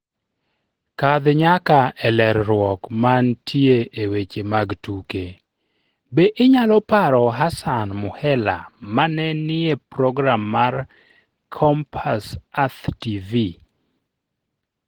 Kadh nyaka e lerruok mantie e weche mag tuke, Be inyalo paro Hassan Muhela ma ne nie program mar Compass Earth TV?